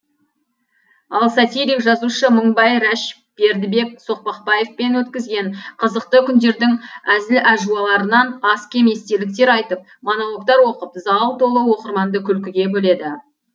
ал сатирик жазушы мыңбай рәш бердібек соқпақбаевпен өткізген қызықты күндердің әзіл әжуаларынан аз кем естеліктер айтып монологтар оқып зал толы оқырманды күлкіге бөледі